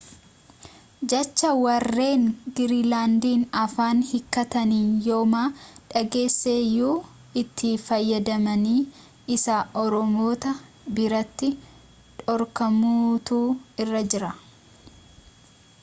jecha warreen giriinlaandiin afaan hiikkatanii yooma dhageesseyyuu itti fayyadamni isaa ormoota biratti dhorkamuutu irra jira